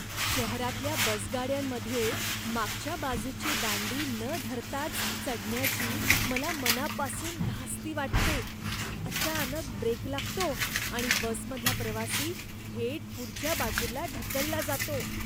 शहरातल्या बसगाड्यांमध्ये मागच्या बाजूची दांडी न धरताच चढण्याची मला मनापासून धास्ती वाटते. अचानक ब्रेक लागतो आणि बसमधला प्रवासी थेट पुढच्या बाजूला ढकलला जातो.